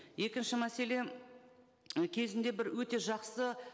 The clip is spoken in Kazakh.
екінші мәселе і кезінде бір өте жақсы